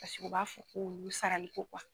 Paseke u b'a fɔ k'olu sarali ko